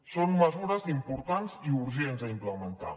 són mesures importants i urgents a implementar